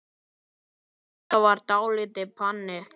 Þetta var dálítið panikk.